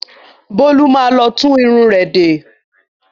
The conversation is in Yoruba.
Bólú má lọ tún irun rẹ̀ de.